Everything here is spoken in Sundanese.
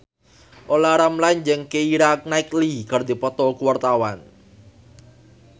Olla Ramlan jeung Keira Knightley keur dipoto ku wartawan